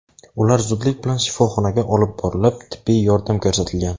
Ular zudlik bilan shifoxonaga olib borilib, tibbiy yordam ko‘rsatilgan.